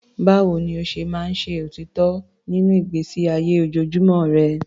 Báwo ni o ṣe máa ń ṣe òtítọ́ nínú ìgbésí ayé ojoojúmọ́ rẹ?